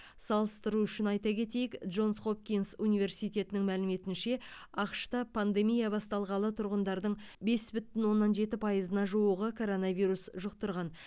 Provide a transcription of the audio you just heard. салыстыру үшін айта кетейік джонс хопкинс университетінің мәліметінше ақш та пандемия басталғалы тұрғындардың бес бүтін оннан жеті пайызына жуығы коронавирус жұқтырған